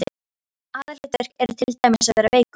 Aðalhlutverk er til dæmis að vera veikur.